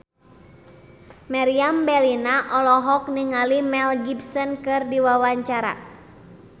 Meriam Bellina olohok ningali Mel Gibson keur diwawancara